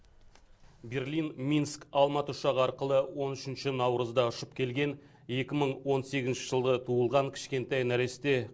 берлин минск алматы ұшағы арқылы он үшінші наурызда ұшып келген екі мың он сегізінші жылы туылған кішкентай нәресте